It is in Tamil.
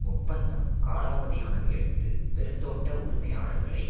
ஒப்பந்தம் காலாவதியானதையடுத்து பெருந்தோட்ட உரிமையாளர்களை